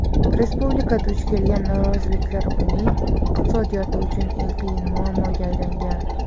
Respublika duch kelgan noroziliklar uning iqtisodiyoti uchun "eng qiyin" muammoga aylangan.